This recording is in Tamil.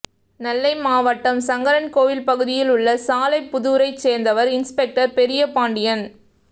நெல்லை மாவட்டம் சங்கரன் கோவில் பகுதியில் உள்ள சாலைப்புதூரைச் சேர்ந்தவர் இன்ஸ்பெக்டர் பெரியபாண்டியன்